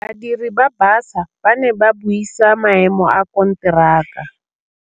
Badiri ba baša ba ne ba buisa maêmô a konteraka.